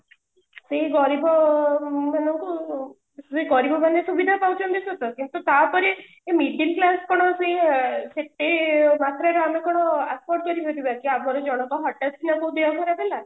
ସେଇ ଗରିବ ମାନଙ୍କୁ ସେଥିରେ ଗରିବମାନେ ସୁବିଧା ପାଉଛନ୍ତି ସତ କିନ୍ତୁ ତାପରେ ଏଇ middle class ଗୁଡାକ ସେୟା ସେତେ ମାତ୍ରାରେ ମନେକର ଆସା କରିବନି ବାକି ଆମର ଜଣଙ୍କ ହଟାତକିଣା ଦେହ ଖରାପ ହେଲା